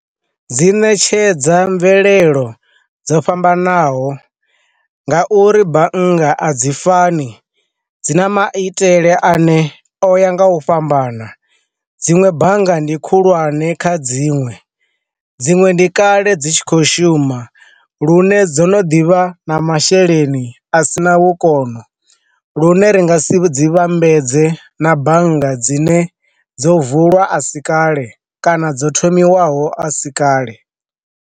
Dzi ṋetshedza mvelelo dzo fhambanaho nga uri bannga a dzi fani dzi na maitele ane o ya nga u fhambana, dziṅwe bannga ndi khulwane kha dziṅwe dziṅwe ndi kale dzi tshi khou shuma lune dzo no ḓivha na masheleni a sina vhukono lune ri nga si dzi vhambedze na bannga dzine dzo vulwa a si kale kana dzo thomiwaho a si kale.